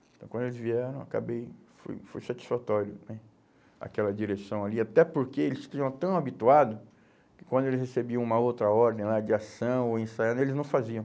Então, quando eles vieram, acabei, foi, foi satisfatório né, aquela direção ali, até porque eles ficavam tão habituados que quando eles recebiam uma outra ordem lá de ação ou ensaio, eles não faziam.